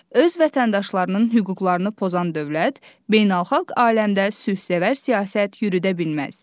Öz vətəndaşlarının hüquqlarını pozan dövlət, beynəlxalq aləmdə sülhsevər siyasət yürüdə bilməz.